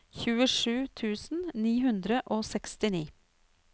tjuesju tusen ni hundre og sekstini